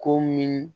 Ko min